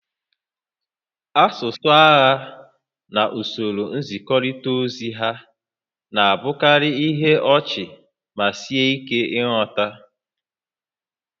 Asụsụ agha na usoro nzikọrịta ozi ha na-abụkarị ihe ọchị ma sie ike nghọta